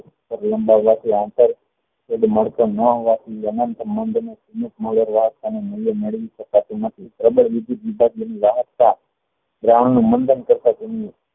તેનો આંતર મળતો નો હોવા થી મેળવી શકાતું નથી પ્રબળ દ્રાવણ નું મંડાણ કરતા તેમનું